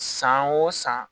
San o san